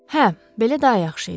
Hə, belə daha yaxşı idi.